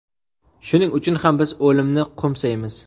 shuning uchun ham biz o‘limni qo‘msaymiz.